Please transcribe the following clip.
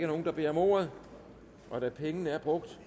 nogen der beder om ordet og da pengene er brugt